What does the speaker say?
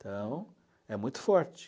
Então, é muito forte.